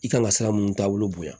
I kan ka sira mun taabolo bonya